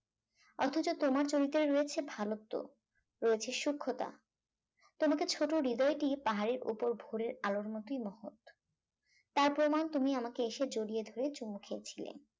অথচ তোমার চরিত্রে রয়েছে ভালোত্ব রয়েছে সুক্ষতা তোমাকে এই ছোট হৃদয়টি পাহাড়ের ওপর ভোরের আলোর মতই মহৎ তার প্রমান তুমি আমাকে এসে জড়িয়ে ধরে চুমু খেয়েছিলে